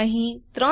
હવે એન્ટર ડબાઓ